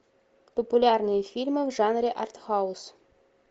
популярные фильмы в жанре артхаус